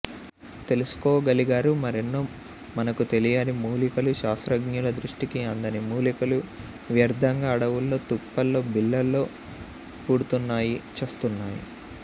తెలుసుకోగలిగారు మరెన్నో మనకు తెలియని మూలికలు శాస్త్రజ్ఞుల దృష్టికి అందని మూలికలు వ్యర్థంగా అడవుల్లో తుప్పల్లో బీళ్ళలో పుడ్తున్నాయి చస్తున్నాయి